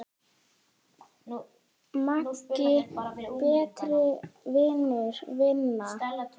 Megi betri eyrun vinna.